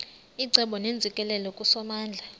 icebo neentsikelelo kusomandla